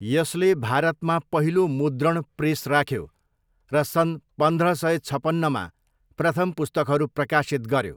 यसले भारतमा पहिलो मुद्रण प्रेस राख्यो र सन् पन्ध्र सय छपन्नमा प्रथम पुस्तकहरू प्रकाशित गऱ्यो।